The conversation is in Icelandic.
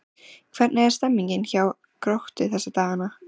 Hvernig er stemningin hjá Gróttu þessa dagana?